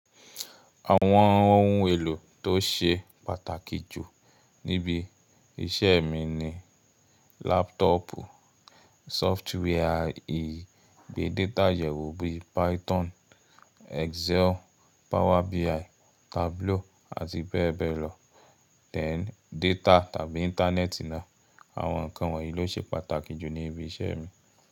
Àwọn ohun èlò tó ṣe pàtàkì jù níbi iṣẹ́ mi ni laptopu, sọftware à ìgbé data yẹ̀wò bí i Python, Excel, Power BI, Tableau àti bẹ́ẹ̀ bẹ́ẹ̀ lọ then data tàbí Íńtánẹ́ẹ̀tì náà. Àwọn nǹkan wọ̀nyí ló ṣe pàtàkì jù níbi iṣẹ́ mi.